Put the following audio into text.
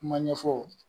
Kuma ɲɛfɔ